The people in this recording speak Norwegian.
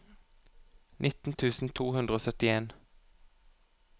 nitten tusen to hundre og syttien